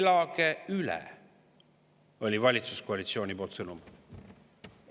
"Elage üle!" oli valitsuskoalitsiooni sõnum.